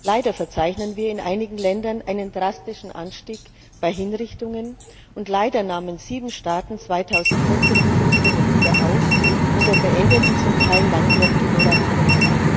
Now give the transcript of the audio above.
Leider verzeichnen wir in einigen Ländern einen drastischen Anstieg bei Hinrichtungen, und leider nahmen sieben Staaten 2014 Hinrichtungen wieder auf oder beendeten zum Teil langjährige Moratorien.